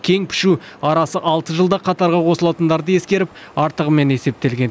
кең пішу арасы алты жылда қатарға қосылатындарды ескеріп артығымен есептелген